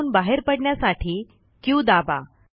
त्यातून बाहेर पडण्यासाठी क्यू दाबा